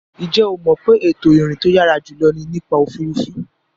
Ǹjẹ́ o mọ̀ pé ètò ìrìn tó yàrá jùlọ ni nípa òfuurufú.